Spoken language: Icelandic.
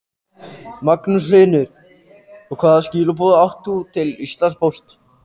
Magnús Hlynur: Og hvaða skilaboð átt þú til Íslandspóst?